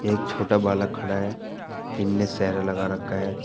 एक छोटा बालक खड़ा है इनमें सेहरा लगा रखा है।